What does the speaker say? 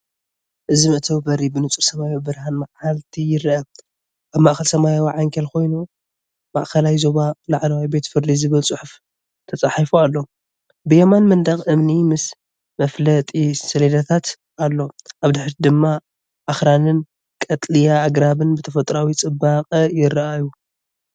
እዚ መእተዊ በሪ ብንጹር ሰማያዊ ብርሃን መዓልቲ ይርአ። ኣብ ማእከል ሰማያዊ ዓንኬል ኮይኑ “ማእከላይ ዞባ ላዕለዋይ ቤት ፍርዲ”ዝብል ጽሑፍ ተጻሒፉ ኣሎ። ብየማን መንደቕ እምኒ ምስ መፍለጢ ሰሌዳታት ኣሎ። ኣብ ድሕሪት ድማ ኣኽራንን ቀጠልያ ኣግራብን ብተፈጥሮኣዊ ጽባቐ ይረኣዩ።